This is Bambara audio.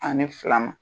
Ani fila ma